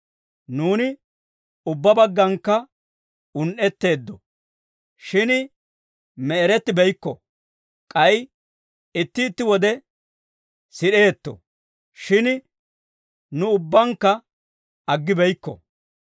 Nuuni ubbaa bagganakka un"etteeddo; shin me'erettibeykko; k'ay itti itti wode sid'eetto; shin nu ubbaannakka aggibeykko.